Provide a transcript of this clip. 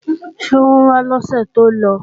Ṣé wọ́n wá lọ́sè tó lọ?